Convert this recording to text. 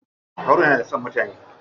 Haruna yana da son mutane.